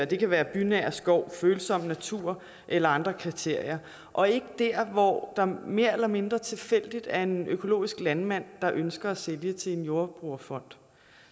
det kan være bynær skov følsom natur eller andre kriterier og ikke dér hvor der mere eller mindre tilfældigt er en økologisk landmand der ønsker at sælge til en jordbrugerfond